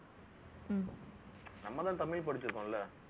நம்மதான் தமிழ் படிச்சிருக்கோம்ல